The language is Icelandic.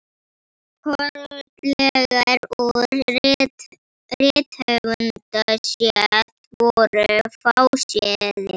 Kollegar úr rithöfundastétt voru fáséðir.